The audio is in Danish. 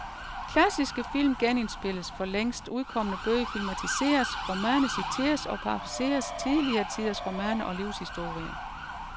Klassiske film genindspilles, for længst udkomne bøger filmatiseres, romaner citerer og parafraserer tidligere tiders romaner og livshistorier.